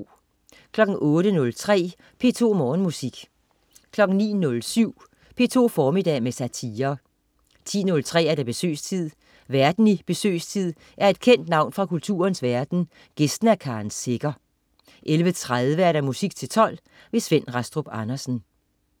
08.03 P2 Morgenmusik 09.07 P2 formiddag med satire 10.03 Besøgstid. Værten i "Besøgstid" er et kendt navn fra kulturens verden, gæsten er Karen Secher 11.30 Musik til 12. Svend Rastrup Andersen